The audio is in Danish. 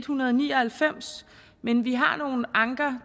hundrede og ni og halvfems men vi har nogle anker